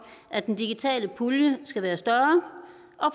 at den digitale pulje skal være større